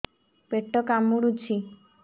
ପେଟ କାମୁଡୁଛି